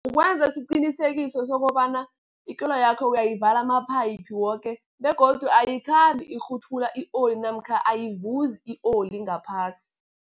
Kukwenza isiqinisekiso sokobana, ikoloyakho uyayivala amaphayiphu woke begodu ayikhambi ikghuthula i-oli namkha ayivuzi i-oli ngaphasi.